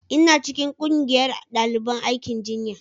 ina cikin ƙungiyar daliban aikin jinya